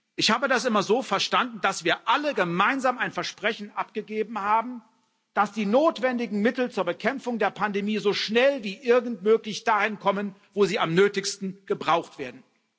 Ich habe das immer so verstanden, dass wir alle gemeinsam ein Versprechen abgegeben haben, dass die notwendigen Mittel zur Bekämpfung der Pandemie so schnell wie irgend möglich dahin kommen, wo sie am nötigsten gebraucht werden.